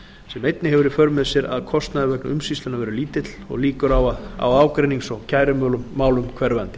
sem hefur í för með sér að kostnaður vegna umsýslunnar verður lítill og líkur á ágreinings og kærumálum hverfandi